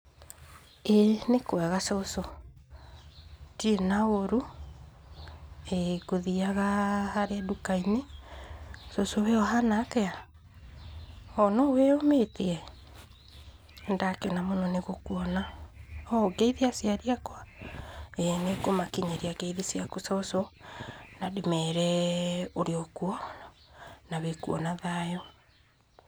ĩĩ nĩ kwega cũcũ, ndire na ũru, ĩĩ ngũthiaga harĩa nduka-inĩ, cũcũ we ũhana atĩa, ooh no wĩnyũmĩtie, nĩ ndakena mũno nĩ gũkuona, ooh ngeithie aciari akwa, ĩĩ nĩ ngũmakinyĩria ngeithi ciaku cũcũ, na ndĩmere ũrĩokwo, na wĩkwo na thayũ.